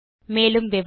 மேலும் விவரங்களுக்கு